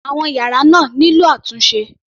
Àwọn yàrá náà nílò àtúnṣe.